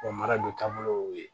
mara don taabolo y'o ye